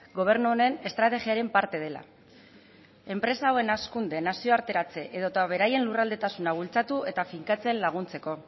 gobernu honen estrategiaren parte dela enpresa hauen hazkunde nazioarteratze edota beraien lurraldetasuna bultzatu eta finkatzen laguntzeko